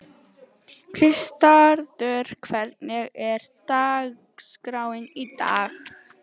Kristvarður, hvernig er dagskráin í dag?